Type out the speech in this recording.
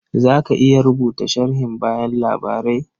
Za ka iya rubuta sharhin bayan labarai?